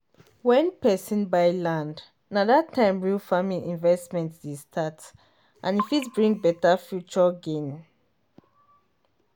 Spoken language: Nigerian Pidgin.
wen person buy land na that time real farming investment dey start and e fit bring better future gain.